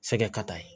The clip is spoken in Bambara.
Sɛgɛn ka taa ye